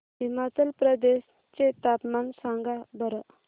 हिमाचल प्रदेश चे तापमान सांगा बरं